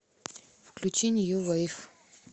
включи нью вейв